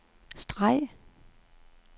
streg